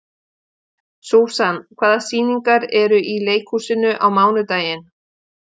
Susan, hvaða sýningar eru í leikhúsinu á mánudaginn?